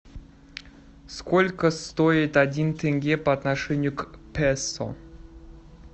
сколько стоит один тенге по отношению к песо